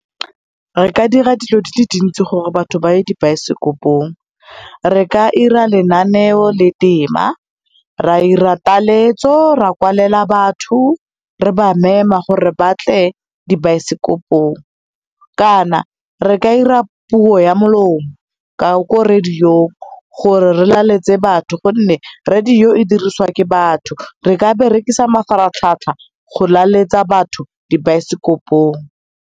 Re ka dira dilo dile dintsi gore batho ba ye dibaesekopong. Re ka dira lenaneo le tema, ra ira taletso, ra kwalela batho re ba mema gore batle dibaesekopong, kana re ka ira puo ya molomo ko radio-ng gore re laletse batho, gonne radio e diriswa ke batho. Re ka berekisa mafaratlhatlha go laletsa batho dibaesekopong.